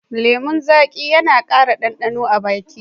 Lemun zaƙi yana ƙara ɗanɗano a baki